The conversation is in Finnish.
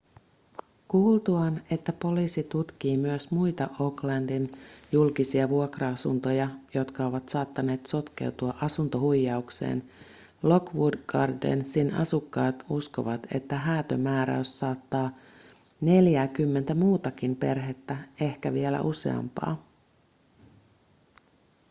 kuultuaan että poliisi tutkii myös muita oaklandin julkisia vuokra-asuntoja jotka ovat saattaneet sotkeutua asuntohuijaukseen lockwood gardensin asukkaat uskovat että häätömääräys saattaa neljääkymmentä muutakin perhettä ehkä vielä useampaa